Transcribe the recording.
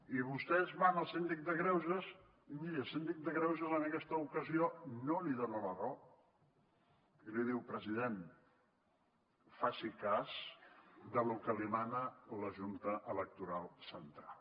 i vostès van al síndic de greuges i miri el síndic de greuges en aquesta ocasió no li dona la raó i li diu president faci cas del que li mana la junta electoral central